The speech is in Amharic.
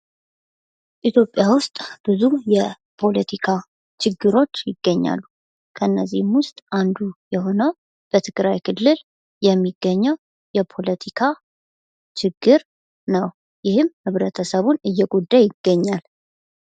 ኢትዮጵያ ውስጥ ብዙ የፖለቲካ ችግሮች ይገኛሉ። ከነዚህም ውስጥ አንዱ የሆነው በትግራይ ክልል የሚገኘው የፖለቲካ ችግር ነው። ይህም ህብረተሰቡን እየጎዳ ይገኛል።